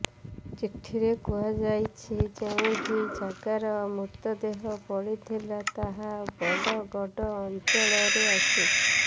ଚିଠିରେ କୁହାଯାଇଛି ଯେଉଁଠି ଜଗାର ମୃତଦେହ ପଡ଼ିଥିଲା ତାହା ବଡ଼ଗଡ଼ ଅଞ୍ଚଳରେ ଆସୁଛି